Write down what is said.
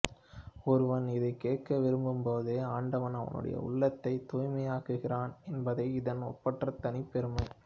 ஒருவன் இதைக் கேட்க விரும்பும்போதே ஆண்டவன் அவனுடைய உள்ளத்தைத் தூய்மையாக்குகிறான் என்பதே இதன் ஒப்பற்ற தனிப்பெருமை